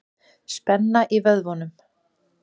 Spenna í vöðvunum.